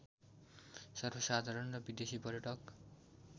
सर्वसाधारण र विदेशी पर्यटक